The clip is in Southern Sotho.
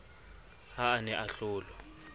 ha a ne a hlolwa